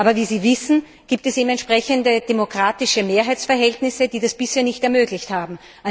Aber wie Sie wissen, gibt es eben entsprechende demokratische Mehrheitsverhältnisse, die das bisher nicht ermöglicht haben.